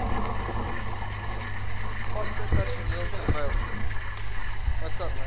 vaste personeel terwyl